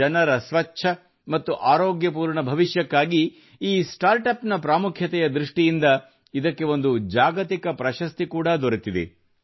ಜನರ ಸ್ವಚ್ಛ ಮತ್ತು ಆರೋಗ್ಯಪೂರ್ಣ ಭವಿಷ್ಯಕ್ಕಾಗಿ ಈ ಸ್ಟಾರ್ಟ್ ಅಪ್ ನ ಪ್ರಾಮುಖ್ಯತೆಯ ದೃಷ್ಟಿಯಿಂದ ಇದಕ್ಕೆ ಒಂದು ಜಾಗತಿಕ ಪ್ರಶಸ್ತಿ ಕೂಡಾ ದೊರೆತಿದೆ